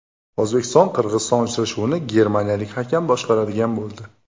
O‘zbekiston Qirg‘iziston uchrashuvini germaniyalik hakam boshqaradigan bo‘ldi.